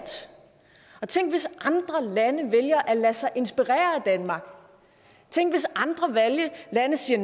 tænk hvis andre lande vælger at lade sig inspirere af danmark tænk hvis andre lande siger